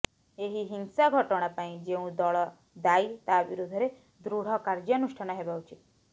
ଏହି ହିଂସା ଘଟଣା ପାଇଁ ଯେଉଁ ଦଳ ଦାୟୀ ତା ବିରୋଧରେ ଦୃଢ କାର୍ଯ୍ୟାନୁଷ୍ଠାନ ହେବା ଉଚିତ